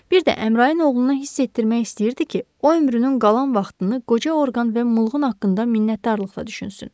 Bir də Əmrayın oğluna hiss etdirmək istəyirdi ki, o ömrünün qalan vaxtını qoca orqan və Mulqın haqqında minnətdarlıqla düşünsün.